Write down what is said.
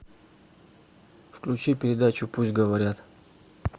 включи передачу пусть говорят